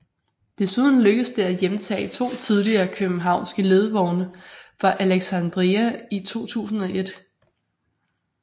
Desuden lykkedes det at hjemtage to tidligere københavnske ledvogne fra Alexandria i 2001